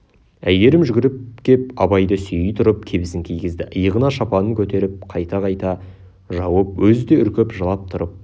әйгерім жүгіріп кеп абайды сүйей тұрып кебісін кигізді иығына шапанын көтеріп қайта-қайта жауып өзі де үркіп жылап тұрып